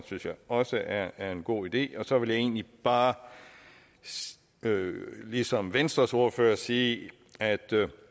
synes jeg også er er en god idé og så vil jeg egentlig bare ligesom venstres ordfører sige at